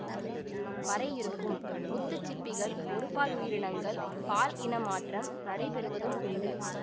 வரை இருக்கும் முத்துச் சிப்பிகள் ஒருபால் உயிரினங்கள் பால் இன மாற்றம் நடைபெறுவதும் உண்டு